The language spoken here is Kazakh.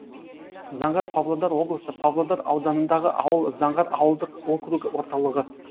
заңғар павлодар облысы павлодар ауданындағы ауыл заңғар ауылдық округі орталығы